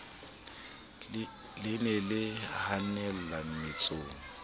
le ne le hanella mmetsong